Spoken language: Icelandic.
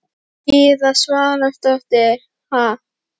Gyða Svavarsdóttir: Ha?